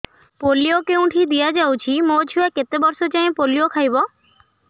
polio କେଉଁଠି ଦିଆଯାଉଛି ମୋ ଛୁଆ କେତେ ବର୍ଷ ଯାଏଁ ପୋଲିଓ ଖାଇବ